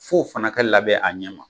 Fo fana ka labɛn a ɲɛ ma.